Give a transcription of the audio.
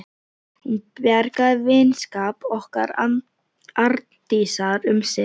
Hún bjargaði vinskap okkar Arndísar um sinn.